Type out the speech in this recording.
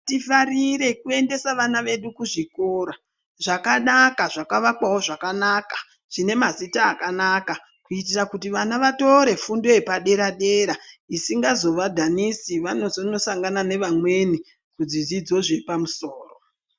Tifarire kuendesa vana vedu kuzvikora zvakanaka zvakavakwawo zvakanaka zvine mazita akanaka. Kuitira kuti vana vatore fundo yepadera-dera, isingazovadhanisi vanozonosangana nevamweni kuzvidzidzo zvepamusoro.